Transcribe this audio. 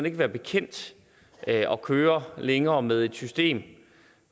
ikke være bekendt at køre længere med et system